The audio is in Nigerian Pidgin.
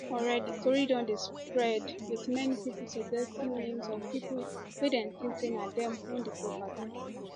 already tori don dey spread wit many pipo suggesting names of pipo wey dem think say na dem own di property